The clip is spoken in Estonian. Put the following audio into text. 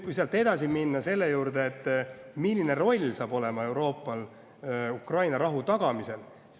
Lähme edasi selle juurde, milline roll saab olema Euroopal Ukraina rahu tagamisel.